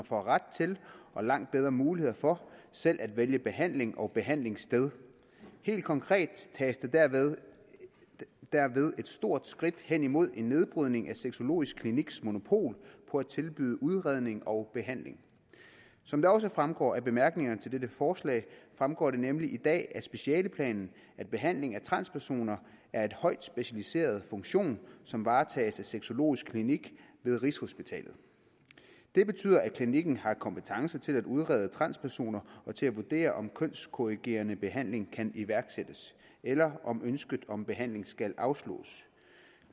får ret til og langt bedre muligheder for selv at vælge behandling og behandlingssted helt konkret tages der derved et stort skridt hen imod en nedbrydning af sexologisk kliniks monopol på at tilbyde udredning og behandling som det også fremgår af bemærkningerne til dette forslag fremgår det nemlig i dag af specialeplanen at behandlingen af transpersoner er en højt specialiseret funktion som varetages af sexologisk klinik ved rigshospitalet det betyder at klinikken har kompetence til at udrede transpersoner og til at vurdere om kønskorrigerende behandling kan iværksættes eller om ønsket om behandling skal afslås